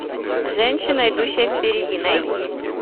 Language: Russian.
женщина идущая впереди найти